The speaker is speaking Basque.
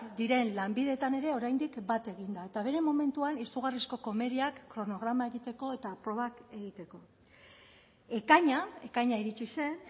diren lanbideetan ere oraindik bat egin da eta bere momentuan izugarrizko komeriak kronograma egiteko eta probak egiteko ekaina ekaina iritsi zen